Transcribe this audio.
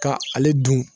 Ka ale dun